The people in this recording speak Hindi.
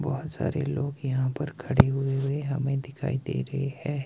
बहुत सारे लोग यहां पर खड़े हुए हुए हमें दिखाई दे रहे है।